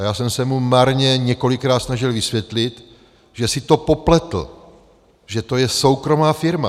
A já jsem se mu marně několikrát snažil vysvětlit, že si to popletl, že to je soukromá firma.